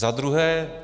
Za druhé.